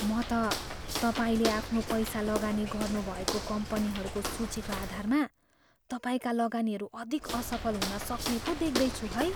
म त तपाईँले आफ्नो पैसा लगानी गर्नुभएको कम्पनीहरूको सूचीको आधारमा तपाईँका लगानीहरू अधिक असफल हुनसक्ने पो देख्दैछु है।